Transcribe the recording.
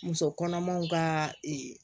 Muso kɔnɔmaw ka